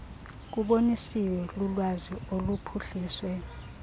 kubonisiwe lulwazi oluphuhliswe